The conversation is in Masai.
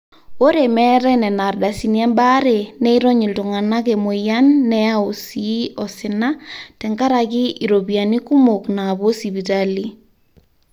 ore meetai nena ardasini embaare neirony iltung'anak emweyian neyau sii osina tenkaraki iropiyiani kumok naapuo sipitali